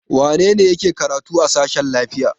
Wane ne yake karatu a sashen lafiya?